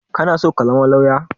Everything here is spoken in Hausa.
Kana so ka zama lawyer?